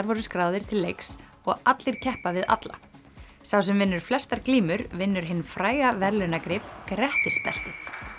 voru skráðir til leiks og allir keppa við alla sá sem vinnur flestar glímur vinnur hinn fræga verðlaunagrip Grettisbeltið